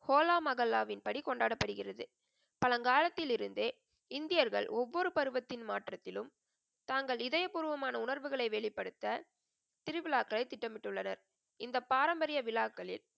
ஹோலா மகல்லாவின் படி கொண்டாடப்படுகிறது. பழங்காலத்தில் இருந்தே இந்தியர்கள் ஒவ்வொரு பருவத்தின் மாற்றத்திலும் தாங்கள் இதய பூர்வமான உணர்வுகளை வெளிப்படுத்த, திருவிழாக்களை திட்டமிட்டுள்ளனர். இந்த பாரம்பரிய விழாக்களில்,